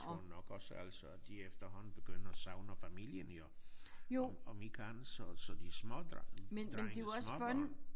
Tror nok også altså at de efterhånden begynder at savne familien jo om om ikke andet så så de små drenge drenge små børn